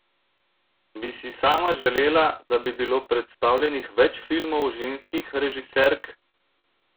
Bi si sama želela, da bi bilo predstavljenih več filmov ženskih režiserk?